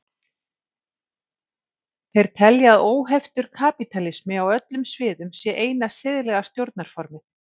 þeir telja að óheftur kapítalismi á öllum sviðum sé eina siðlega stjórnarformið